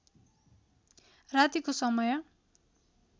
रातीको समय